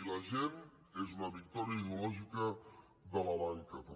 i la gent és una victòria ideològica de la banca també